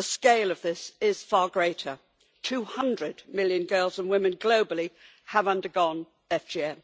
The scale of this is far greater 200 million girls and women globally have undergone FGM.